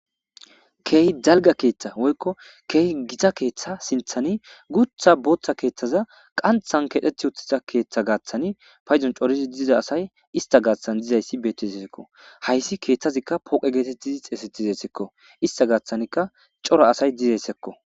keehi dalga keeththa woykko keehi gita keeththa sinthani gutha booththa keeththaza qanthan keedhethi utthiza keeththa gaaththani payzon corizi diza asay ista gaaththan dizayssi bettizessekko hayssi keeththazikka pooqe geetettizi xeesedizessekko ista gaaththanikka cora asay dizeyssekko